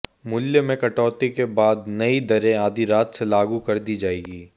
मूल्य में कौटती के बाद नई दरें आधी रात से लागू कर दी जाएगी